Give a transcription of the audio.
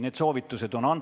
Need soovitused on antud.